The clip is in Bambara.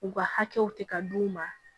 U ka hakɛw tɛ ka d'u ma